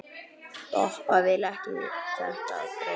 Doppa vill ekki þetta brauð.